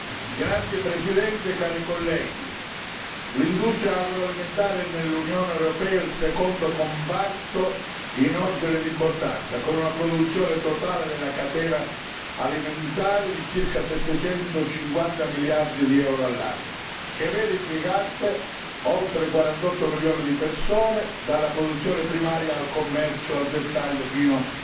Signor Presidente, onorevoli colleghi, l'industria agroalimentare nell'Unione europea è il secondo comparto in ordine d'importanza, con una produzione totale della catena alimentare di circa 750 miliardi di euro all'anno, che vede impiegati oltre 48 milioni di persone, dalla produzione primaria al commercio al dettaglio, fino